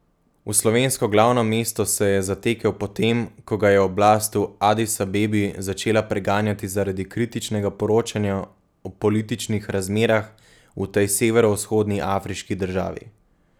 V slovensko glavno mesto se je zatekel po tem, ko ga je oblast v Adis Abebi začela preganjati zaradi kritičnega poročanja o političnih razmerah v tej severovzhodni afriški državi.